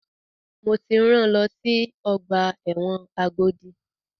Mo ti rán lọ sí ọgbà ẹ̀wọ̀n Agodi!